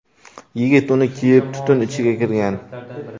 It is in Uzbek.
Yigit uni kiyib, tutun ichiga kirgan.